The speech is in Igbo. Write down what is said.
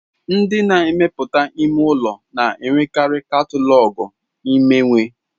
Ndị na-emepụta ime ụlọ na-enwekarị katalọgụ imewe.